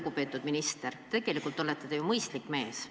Lugupeetud minister, tegelikult te olete ju mõistlik mees.